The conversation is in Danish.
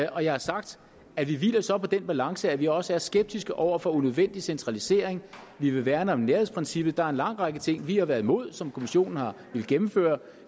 og jeg har sagt at vi så hviler på den balance at vi også er skeptiske over for unødvendig centralisering vi vil værne om nærhedsprincippet der er en lang række ting vi har været imod som kommissionen har villet gennemføre